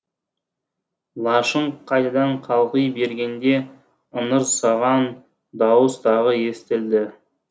лашын қайтадан қалғи бергенде ыңырсыған дауыс тағы естілді